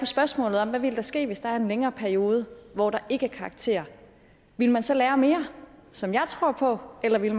spørgsmålet hvad ville der ske hvis der var en længere periode hvor der ikke var karakterer ville man så lære mere som jeg tror på eller ville